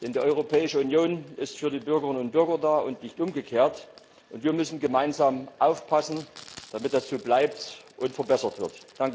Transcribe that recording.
Denn die Europäische Union ist für die Bürgerinnen und Bürger da und nicht umgekehrt. Und wir müssen gemeinsam aufpassen, dass das so bleibt und verbessert wird.